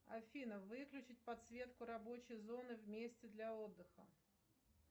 афина выключить подсветку рабочей зоны в месте для отдыха